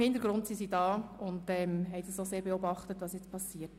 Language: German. Im Hintergrund ist sie aber präsent und beobachtet die Lage.